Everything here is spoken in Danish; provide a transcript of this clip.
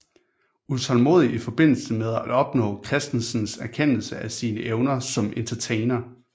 Utålmodig i forbindelse med at opnå Christensens anerkendelse af sine evner som entertainer